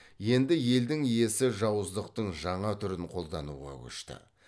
енді елдің иесі жауыздықтың жаңа түрін қолдануға көшті